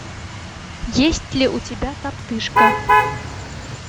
есть ли у тебя топтыжка